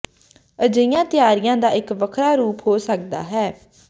ਅਜਿਹੀਆਂ ਤਿਆਰੀਆਂ ਦਾ ਇੱਕ ਵੱਖਰਾ ਰੂਪ ਹੋ ਸਕਦਾ ਹੈ